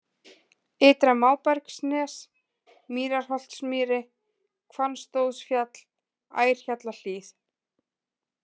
Ytra-Mábergsnes, Mýrarholtsmýri, Hvannstóðsfjall, Ærhjallahlíð